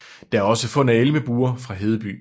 Der er også fund af elmebuer fra Hedeby